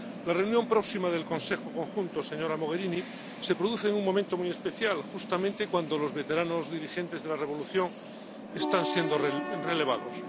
La reunión próxima del Consejo Conjunto, señora Mogherini, se produce en un momento muy especial, justamente cuando los veteranos dirigentes de la revolución están siendo relevados.